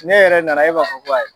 N'e yɛrɛ nana e b'a fɔ ko ayi.